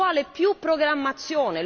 Ci vuole più programmazione!